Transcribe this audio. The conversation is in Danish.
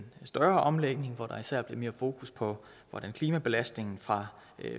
større omlægning hvor der især bliver mere fokus på hvordan klimabelastningen fra